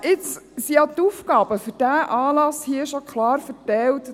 Nur jetzt sind ja die Aufgaben für diesen Anlass hier schon klar verteilt;